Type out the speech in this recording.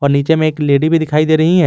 और नीचे में एक लेडी भी दिखाई दे रही है।